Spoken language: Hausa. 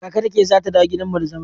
Kaka Rakiya za ta dawo gidan mu da zama.